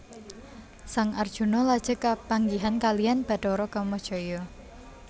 Sang Arjuna lajeng kepanggihan kaliyan bathara Kamajaya